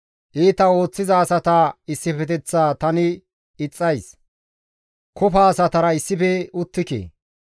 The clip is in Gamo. Iita ooththiza asata issifeteththa tani ixxays; kofa asatara issife uttike.